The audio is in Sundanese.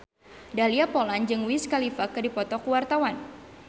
Dahlia Poland jeung Wiz Khalifa keur dipoto ku wartawan